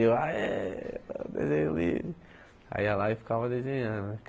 Eu aê desenho livre aí ia lá e ficava desenhando né.